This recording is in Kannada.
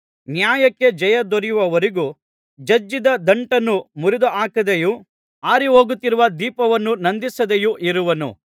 ನ್ಯಾಯಕ್ಕೆ ಜಯ ದೊರೆಯುವವರೆಗೂ ಜಜ್ಜಿದ ದಂಟನ್ನು ಮುರಿದುಹಾಕದೆಯೂ ಆರಿಹೋಗುತ್ತಿರುವ ದೀಪವನ್ನು ನಂದಿಸದೆಯೂ ಇರುವನು